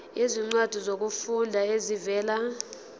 izincwadi zokufunda ezivela